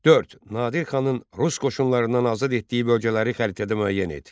Dörd: Nadir xanın rus qoşunlarından azad etdiyi bölgələri xəritədə müəyyən et.